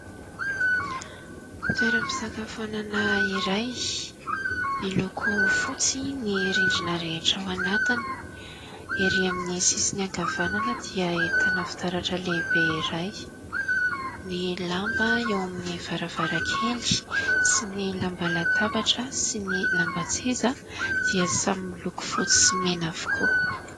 Toeram_pisakafoanana iray miloko fotsy ny rindrina rehetra ao anatiny. Erý amin'ny sisiny ankavanana dia ahitana fitaratra lehibe iray. Ny lamba eo amin'ny varavaran_kely sy ny lamba latabatra sy ny lamban_tseza dia samy miloko votsy sy mena avokoa.